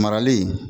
Marali